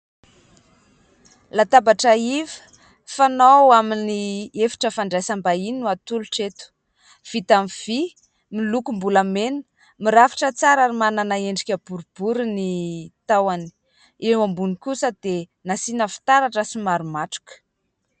Latabatra iva fanao amin'ny efitra fandraisam-bahiny no atolotra eto, vita avy amin'ny vy miloko lokobolamena, mirafitra tsara ary manana endrika boribory ny tahony, eo ambony kosa dia nasiana fitaratra somary matroka.